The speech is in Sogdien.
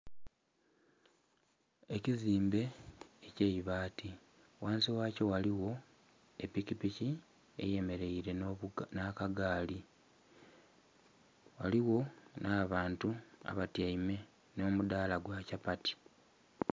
Ekizimbe ekyeibati ghansi yakyo ghaligho epikipiki eyemereire nha kagaali, ghaligho nha bantu abatyaime nho mudhala gwa kyapati.